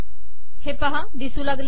हे पहा दिसू लागले